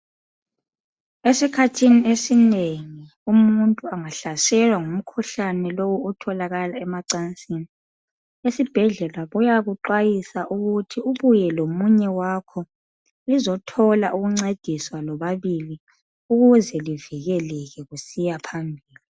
Esikhathini esinengi umuntu angahlaselwa ngumkhuhlane lowu otholakala emacansini, esibhedlela bayakuxwayisa ukuthi ubuye lomunye wakho lizothola ukuncediswa lobabili ukuze livikeleke kusiya phambili.